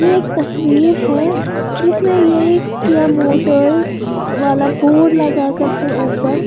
एक तस्वीर है जिसमें यह किया मोटर्स वाला बोर्ड लगाकर है ऊपर।